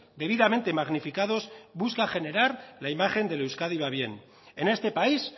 debidamente magnificados busca generar la imagen del euskadi va bien en este país